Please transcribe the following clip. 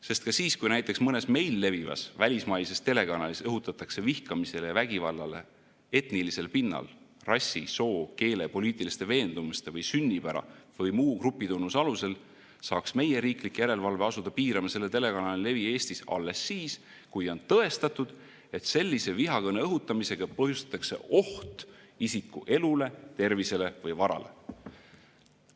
Sest ka siis, kui näiteks mõnes meil levivas välismaises telekanalis õhutatakse vihkamisele ja vägivallale etnilisel pinnal, rassi, soo, keele, poliitiliste veendumuste või sünnipära või muu grupitunnuse alusel, saaks meie riiklik järelevalve asuda piirama selle telekanali levi Eestis alles siis, kui on tõestatud, et sellise vihakõne õhutamisega põhjustatakse oht isiku elule, tervisele või varale.